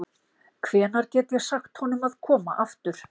Hvenær get ég sagt honum að koma aftur?